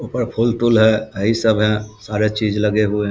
ऊपर फूल तूल हेय हई सब हेय सारे चीज लगे हुए है।